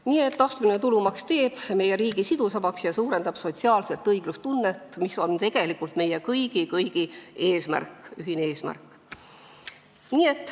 Nii et astmeline tulumaks teeb meie riigi sidusamaks ja suurendab sotsiaalset õiglustunnet, mis on tegelikult meie kõigi ühine eesmärk.